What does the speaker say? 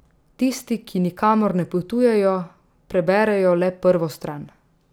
Tisti, ki nikamor ne potujejo, preberejo le prvo stran.